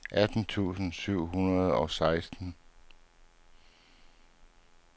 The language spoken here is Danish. atten tusind syv hundrede og seksten